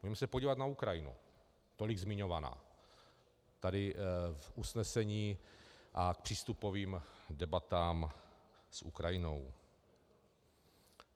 Můžeme se podívat na Ukrajinu, tolik zmiňovaná tady v usnesení a v přístupových debatách s Ukrajinou.